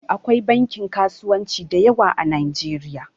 Akwai bankin kasuwanci da yawa a Nijeriya